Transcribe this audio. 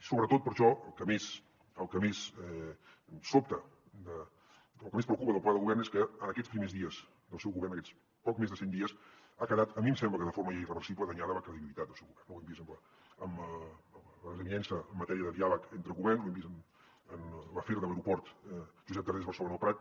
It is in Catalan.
sobretot per això el que més sobta el que més preocupa del pla de govern és que en aquests primers dies del seu govern aquests poc més de cent dies ha quedat a mi em sembla que de forma ja irreversible danyada la credibilitat del seu govern no ho hem vist amb la desavinença en matèria de diàleg entre governs ho hem vist en l’afer de l’aeroport josep tarrés barcelona el prat